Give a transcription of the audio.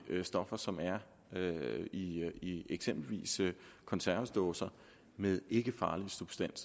stoffer som er i er i eksempelvis konservesdåser med ikkefarlig substans